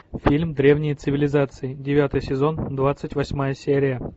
фильм древние цивилизации девятый сезон двадцать восьмая серия